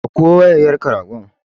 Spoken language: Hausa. Ɗauko wukar yanka ragon!